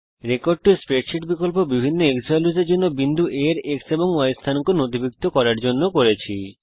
আমরা রেকর্ড টো স্প্রেডশীট বিকল্প বিভিন্ন xValues এর জন্য বিন্দু A এর X এবং Y স্থানাঙ্ক নথিভুক্ত করতে ব্যবহার করেছি